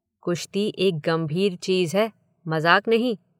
कुश्ती एक गंभीर चीज़ है, मज़ाक नहीं